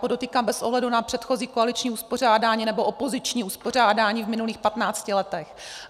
Podotýkám bez ohledu na předchozí koaliční uspořádání nebo opoziční uspořádání v minulých 15 letech.